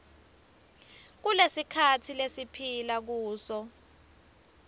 kulesikhatsi lesiphila kuso